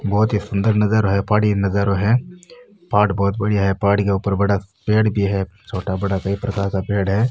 बहोत ही सुन्दर नजरो है पहाड़ी नज़ारा है पहाड़ बहोत बढ़िया है पहाड़ के ऊपर बड़ा पेड़ भी है छोटा बड़ा कई प्रकार का पेड़ है।